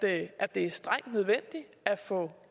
af at det er strengt nødvendigt at få